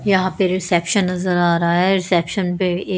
यहां पे रिसेप्शन नजर आ रहा है रिसेप्शन पे ये --